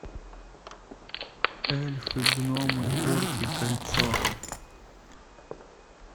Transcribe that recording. эльфы гномы орки кольцо